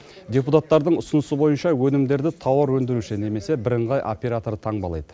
депутаттардың ұсынысы бойынша өнімдерді тауар өндіруші немесе бірыңғай оператор таңбалайды